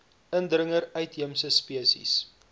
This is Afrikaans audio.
indringer uitheemse spesies